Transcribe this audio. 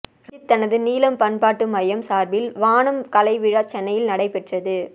இரஞ்சித் தனது நீலம் பண்பாட்டு மையம் சார்பில் வானம் கலைவிழா சென்னையில் நடைபெற்றது